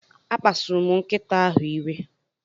A kpasuru m nkịta ahụ iwe.